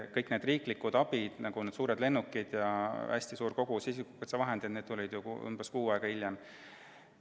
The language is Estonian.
Kogu see riiklik abi, nagu need suured lennukid ja hästi suur kogus isikukaitsevahendid, tuli ju umbes kuu aega hiljem.